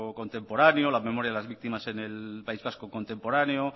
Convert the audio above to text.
contemporáneo las memorias de las víctimas en el país vasco contemporáneo